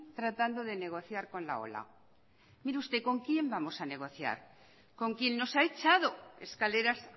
tratando de negociar con la ola mire usted con quién vamos a negociar con quién nos ha echado escaleras